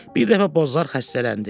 Bir dəfə Bozlar xəstələndi.